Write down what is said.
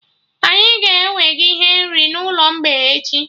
Anyị ga-ewega ihe nri n'ụlọ mgbei echi